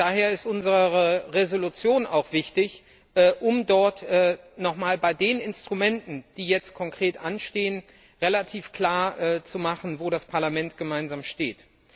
Daher ist unsere Entschließung auch wichtig, um dort noch einmal bei den Instrumenten, die jetzt konkret anstehen, relativ klar zu machen, wo das Parlament gemeinsam steht.